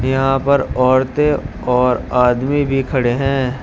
यहां पर औरतें और आदमी भी खड़े हैं।